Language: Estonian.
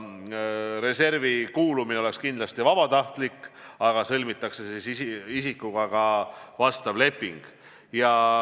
Reservi kuulumine oleks kindlasti vabatahtlik, aga isikutega sõlmitakse lepingud.